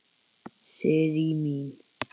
Sirrý mín!